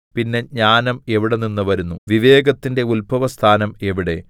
പിന്നെ ജ്ഞാനം എവിടെനിന്ന് വരുന്നു വിവേകത്തിന്റെ ഉത്ഭവസ്ഥാനം എവിടെ